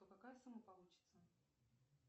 какая сумма получится